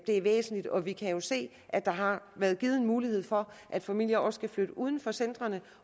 er væsentligt og vi kan jo se at der har været givet en mulighed for at familier også kan flytte uden for centrene